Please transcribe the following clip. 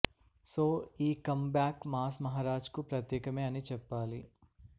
so ఈ come back mass Maharaj కు ప్రత్యేకమే అని చెప్పాలి